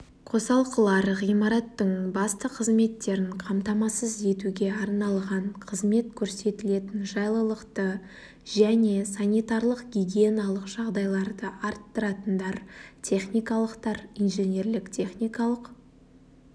қосалқылар ғимараттың басты қызметтерін қамтамасыз етуге арналған қызмет көрсетілетін жайлылықты және санитарлық-гигиеналық жағдайларды арттыратындар техникалықтар инженерлік-техникалық